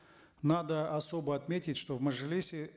надо особо отметить что в мажилисе